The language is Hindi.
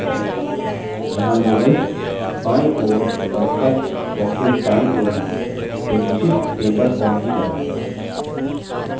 यहाँ labels बायीं ओर और text boxes दायीं ओर हैं एक विशिष्ट paper form की तरह